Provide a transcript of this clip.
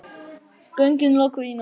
Göngin lokuð í nótt